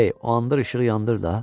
Kley o anda işığı yandırdı.